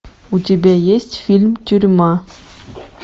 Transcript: у тебя есть фильм тюрьма